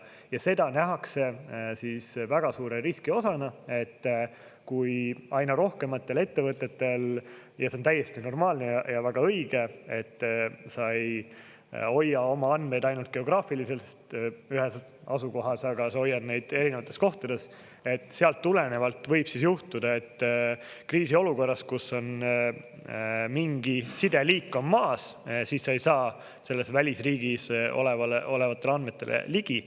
Ja seda nähakse väga suure riski osana, et kui aina rohkematel ettevõtetel, ja see on täiesti normaalne ja väga õige, et sa ei hoia oma andmeid ainult geograafiliselt ühes asukohas, aga sa hoiad neid erinevates kohtades – sealt tulenevalt võib juhtuda, et kriisiolukorras, kus on mingi sideliik maas, sa ei saa välisriigis olevatele andmetele ligi.